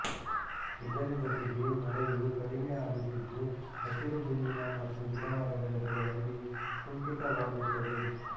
ಇದರ ಜೊತೆಗೆ ಮಳೆಯು ಕಡಿಮೆ ಆಗುತ್ತಿದ್ದು ಹಸಿರು ಹುಲ್ಲಿನ ಮತ್ತು ಗಿಡಮರಗಳ ಬೆಳವಣಿಗೆ ಕುಂಠಿತವಾಗುತ್ತದೆ